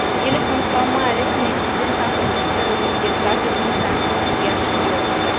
Ele constau mai ales în existența conflictelor înghețate din Transnistria și Georgia.